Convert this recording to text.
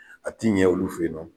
A ti ɲɛ olu fe yen nɔ